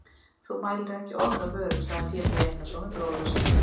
Þú mælir ekki orð af vörum, sagði Pétur Einarsson við bróður sinn.